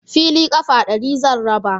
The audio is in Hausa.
Fili ƙafa ɗari zan raba